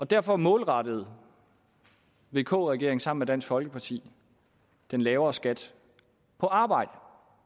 derfor målrettede vk regeringen sammen med dansk folkeparti den lavere skat på arbejdet